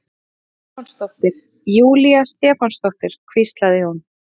Stefánsdóttir, Júlía Stefánsdóttir, hvíslaði hún.